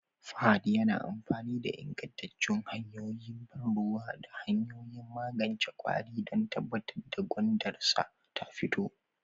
Fahad yana amfani da ingantattun hanyoyin ban ruwa da hanyoyin magance kwari don tabbatar da gwandansarsa ta fito